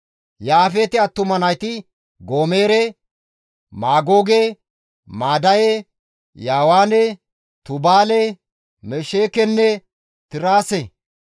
Yaafeete attuma nayti Goomere, Maagooge, Maadaye, Yaawaane, Tubaale, Mesheekenne Tiraase,